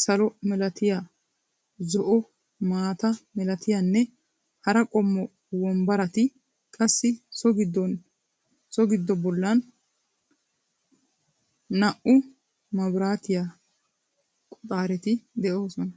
salo milatiya, zo'o maata milatiyanne hara qommo wombarati, qassi so gidon bollaan naa'u mabirattiyaa qoxaareti de'oosona.